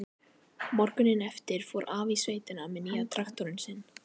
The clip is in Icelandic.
Morguninn eftir fór afi í sveitina með nýja traktorinn sinn.